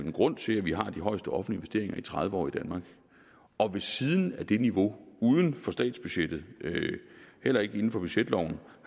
en grund til at vi har de højeste offentlige investeringer i tredive år i danmark og ved siden af det niveau er uden for statsbudgettet heller ikke inden for budgetloven